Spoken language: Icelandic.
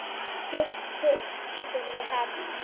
Ekið var yfir